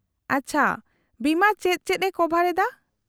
-ᱟᱪᱪᱷᱟ, ᱵᱤᱢᱟ ᱪᱮᱫ ᱪᱮᱫ ᱮ ᱠᱚᱵᱷᱟᱨ ᱮᱫᱟ ?